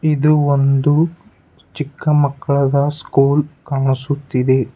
ಇದು ಒಂದು ಚಿಕ್ಕ ಮಕ್ಕಳದ ಸ್ಕೂಲ್ ಕಾಣಿಸುತ್ತಿದೆ.